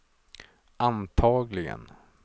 antagligen